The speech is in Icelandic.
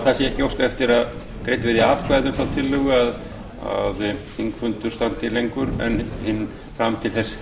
sé ekki óskað eftir að greidd verði atkvæði um þá tillögu að þingfundur standi lengur en fram til þess